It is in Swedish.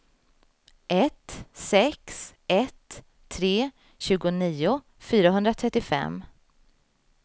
ett sex ett tre tjugonio fyrahundratrettiofem